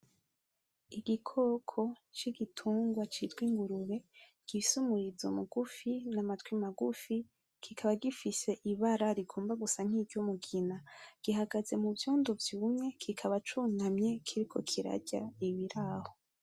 Igikoko c'igitungwa citwa ingurube, gifise umurizo mugufi ,n'amatwi magufi kikaba gifise ibara rigomba gusa nki ry'umugina, gikahagaze mu vyondo vyumye kikaba cunamye kiriko kirarya ibiraho.